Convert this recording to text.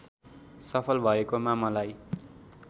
सफल भएकोमा मलाई